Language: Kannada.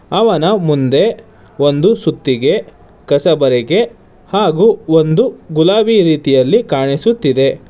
ಅವನ ಮುಂದೆ ಒಂದು ಸುತ್ತಿಗೆ ಕಸಬರಿಕೆ ಹಾಗು ಒಂದು ಗುಲಾಬಿ ರೀತಿಯಲ್ಲಿ ಕಾಣಿಸುತ್ತಿದೆ.